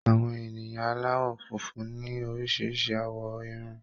Àwọn ènìyàn aláwọ̀ funfun ní oríṣiríṣi àwọ̀ Irun.